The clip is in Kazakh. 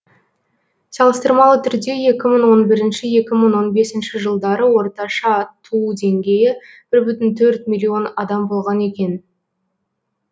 салыстырмалы түрде екі мың он бірінші екі мың он бесінші жылдары орташа туу деңгейі бір бүтін төрт миллион адам болған екен